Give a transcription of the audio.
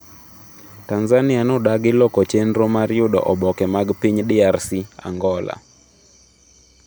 Tanzania nodagi loko chenro mar yudo oboke mag piny DRC, Angola